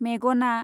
मेगना